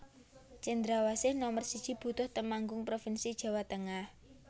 Cendrawasih Nomer siji Butuh Temanggung provinsi Jawa Tengah